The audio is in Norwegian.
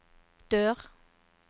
dør